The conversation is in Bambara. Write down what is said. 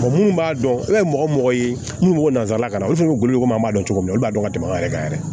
munnu b'a dɔn i b'a ye mɔgɔ o mɔgɔ ye minnu bɛ nanzarakan na olu fana bɛ golo komi an b'a dɔn cogo min na olu b'a dɔn ka tɛmɛ anw yɛrɛ kan yɛrɛ